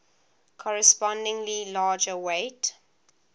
correspondingly larger weight